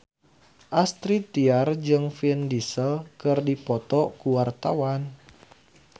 Astrid Tiar jeung Vin Diesel keur dipoto ku wartawan